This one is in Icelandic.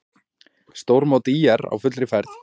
Stórmót ÍR á fullri ferð